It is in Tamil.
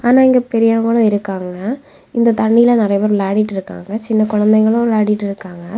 ஆன இங்க பெரியவங்களும் இருக்காங்க இந்த தண்ணில நறைய பேர் விளையாடிட்டு இருக்காங்க சின்ன குழந்தைங்களும் விளையாடிட்டு இருக்காங்க.